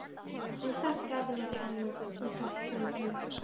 En samt gat hann ekki annað en sagt hug sinn.